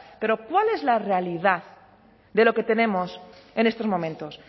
pero cuál es la realidad de lo que tenemos en estos momentos